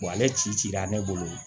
Wa ale ci cira ne bolo